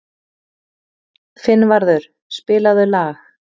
Finnvarður, spilaðu lag.